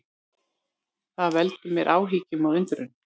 Það veldur mér áhyggjum og undrun